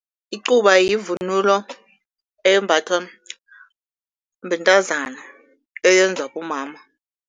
Icuba yivunulo embathwa bentazana, eyenzwa bomama.